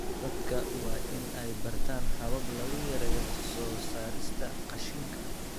Dadka waa in ay bartaan habab lagu yareeyo soo saarista qashinka.